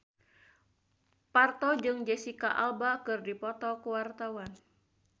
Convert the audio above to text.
Parto jeung Jesicca Alba keur dipoto ku wartawan